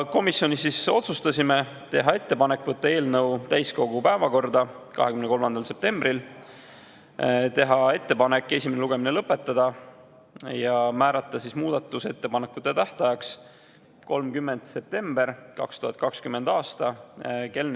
Komisjonis otsustasime teha ettepaneku võtta eelnõu täiskogu päevakorda 23. septembriks, teha ettepanek esimene lugemine lõpetada ja määrata muudatusettepanekute tähtajaks 30. september 2020. aastal kell 16.